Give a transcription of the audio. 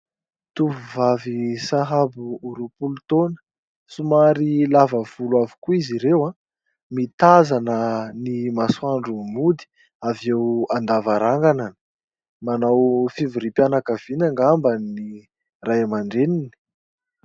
Tovovavy sahabo ho roapolo taona. Somary lava volo avokoa izy ireo, mitazana ny masoandro mody avy eo an-davarangana. Manao fivoriam-pianakaviana angamba ny Ray Aman-dreniny.